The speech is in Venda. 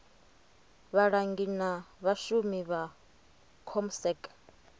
vhalangi na vhashumi vha comsec